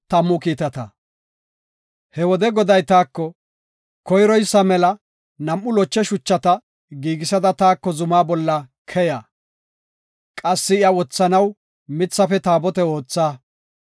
He wode Goday taako, “Koyroysa mela nam7u loche shuchata giigisada taako zumaa bolla keya. Qassi iya wothanaw mithafe taabote ootha.